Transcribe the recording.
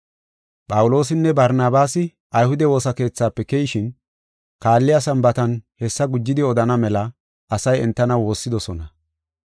Phawuloosinne Barnabaasi Ayhude Woosa keethafe keyishin, kaalliya Sambaatan hessa gujidi odana mela asay entana woossidosona.